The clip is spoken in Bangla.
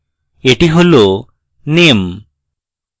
এটি হল name